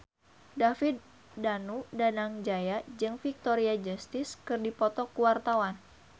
David Danu Danangjaya jeung Victoria Justice keur dipoto ku wartawan